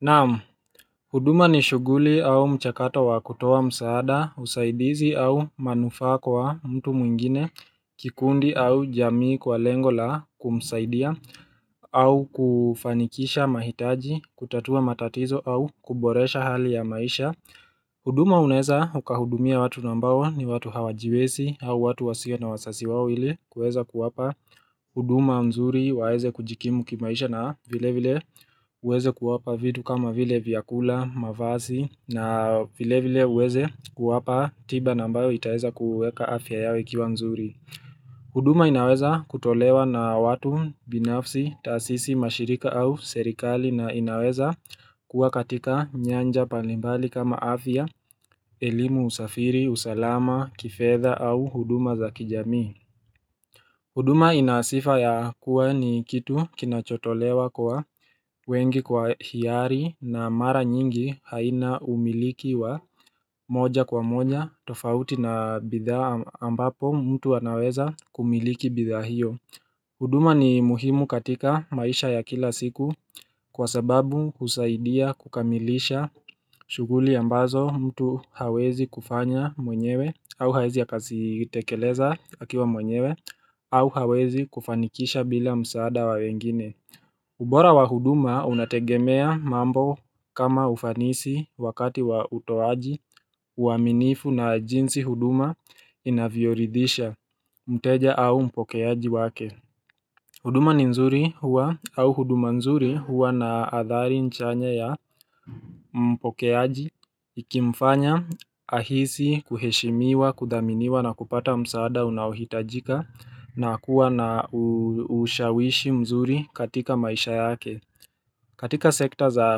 Na'am, huduma ni shughuli au mchakato wa kutoa msaada, usaidizi au manufaa kwa mtu mwingine, kikundi au jamii kwa lengo la kumsaidia, au kufanikisha mahitaji, kutatua matatizo au kuboresha hali ya maisha. Huduma unaeza ukahudumia watu nambao ni watu hawajiwezi au watu wasio na wazazi wao ili kuweza kuwapa huduma nzuri waeze kujikimu kimaisha na vile vile uweze kuwapa vitu kama vile vyakula, mavazi na vile vile uweze kuwapa tiba nambayo itaweza kuuweka afya yao ikia nzuri. Huduma inaweza kutolewa na watu binafsi, taasisi mashirika au serikali na inaweza kuwa katika nyanja mbalimbali kama afya, elimu, usafiri, usalama, kifedha au huduma za kijamii. Huduma ina sifa ya kuwa ni kitu kinachotolewa kwa wengi kwa hiari na mara nyingi haina umiliki wa moja kwa moja tofauti na bidhaa ambapo mtu anaweza kumiliki bidhaa hiyo. Huduma ni muhimu katika maisha ya kila siku kwa sababu husaidia kukamilisha shughuli ambazo mtu hawezi kufanya mwenyewe au hawezi akazitekeleza akiwa mwenyewe au hawezi kufanikisha bila msaada wa wengine. Ubora wa huduma unategemea mambo kama ufanisi, wakati wa utoaji, uaminifu na jinsi huduma inavyoridhisha mteja au mpokeaji wake. Huduma ni nzuri huwa, au huduma nzuri huwa na athari chanya ya mpokeaji Ikimfanya ahisi kuheshimiwa, kudhaminiwa na kupata msaada unaohitajika na kuwa na ushawishi mzuri katika maisha yake. Katika sekta za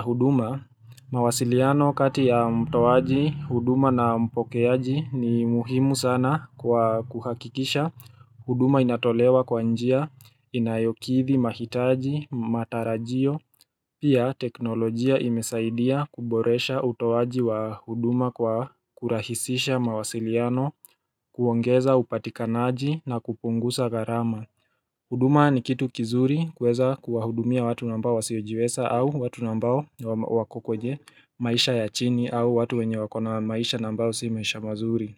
huduma, mawasiliano kati ya mtoaji huduma na mpokeaji ni muhimu sana kwa kuhakikisha. Huduma inatolewa kwa njia, inayokidhi mahitaji, matarajio. Pia teknolojia imesaidia kuboresha utoaji wa huduma kwa kurahisisha mawasiliano, kuongeza upatikanaji na kupunguza gharama. Huduma ni kitu kizuri kuweza kuwahudumia watu nambao wasiojiweza au watu nambao wako kwenye maisha ya chini au watu wenye wako na maisha nambao si maisha mazuri.